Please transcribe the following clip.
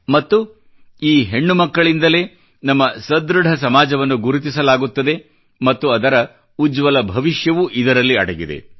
ಮತ್ತು ಈ ಹೆಣ್ಣು ಮಕ್ಕಳಿಂದಲೇ ನಮ್ಮ ಸದೃಢ ಸಮಾಜವನ್ನು ಗುರುತಿಸಲಾಗುತ್ತದೆ ಮತ್ತು ಅದರ ಉಜ್ವಲ ಭವಿಷ್ಯವೂ ಇದರಲ್ಲಿ ಅಡಗಿದೆ